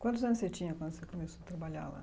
Quantos anos você tinha quando você começou a trabalhar lá?